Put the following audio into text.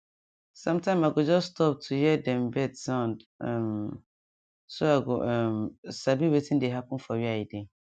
sometime i go just stop to hear dem bird sound um so i go um sabi wetin dey happen for where i dey